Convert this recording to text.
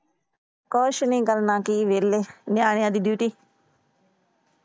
ਕੁਛ ਨਹੀਂ ਕਰਨਾ ਕੀ ਏ ਵੇਹਲੇ Duty ।